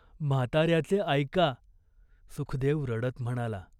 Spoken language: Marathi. म्हाताऱ्याचे ऐका." सुखदेव रडत म्हणाला.